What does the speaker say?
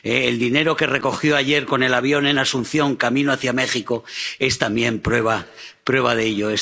El dinero que recogió ayer, con el avión, en Asunción, camino hacia México, es también prueba de ello.